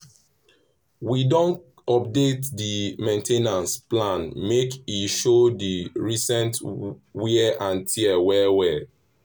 we don update di main ten ance plan make e show di recent wear and tear well well.